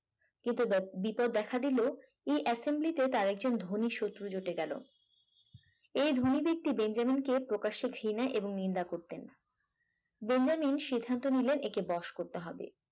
কিন্তু বা বিপদ দেখা দিল এই assembly তে তার একজন ধনী শত্রু জুটে গেল এই ধনী ব্যক্তি বেঞ্জামিন কে প্রকাশ্যে ঘৃণা এবং নিন্দা করতেন বেঞ্জামিন সিদ্ধান্ত নিলেন একে বস করতে হবে